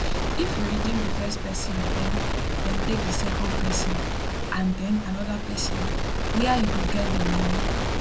if you redeem di first person den dem take di second pesin and den anoda pesin wia you go get di money